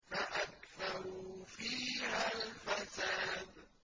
فَأَكْثَرُوا فِيهَا الْفَسَادَ